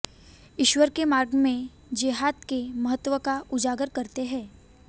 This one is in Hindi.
ईश्वर के मार्ग में जेहाद के महत्व को उजागर करता है